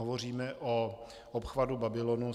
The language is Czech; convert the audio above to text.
Hovoříme o obchvatu Babylonu.